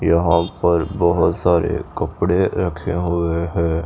यहाँ पर बहुत सारे कपड़े रखे हुए हैं।